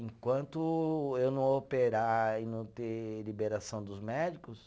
Enquanto eu não operar e não ter liberação dos médicos,